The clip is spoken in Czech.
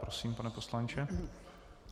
Prosím, pane poslanče.